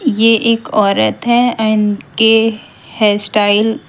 यह एक औरत है उनके हेयर स्टाइल --